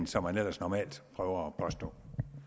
som man ellers normalt prøver at påstå